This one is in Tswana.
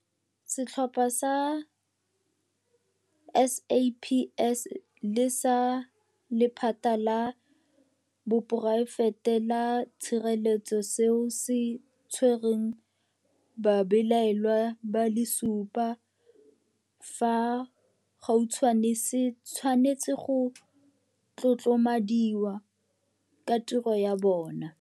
Setlhopha sa SAPS le sa lephata la poraefete la tshireletso seo se tshwereng babelaelwa ba le supa fa gautshwane se tshwanetse go tlotlomadiwa ka tiro ya bona.